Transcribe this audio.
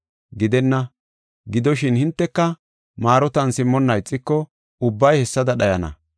Gidenna! Gidoshin, hinteka maarotan simmonna ixiko, ubbay hessada dhayana.